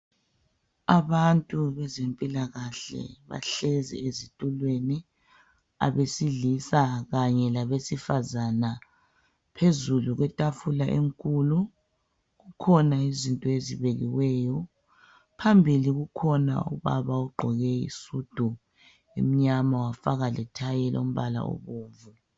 Abantu bezempilakahle bahlezi ezitulweni abesilisa kanye labesifazana phezulu kwetafula enkulu kukhona izinto ezibekiweyo. Phambili kukhona ubaba ogqoke isudu emnyama wafaka lethayi elombala obomvu.